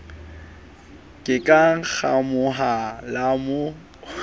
le ka ngamoha la mo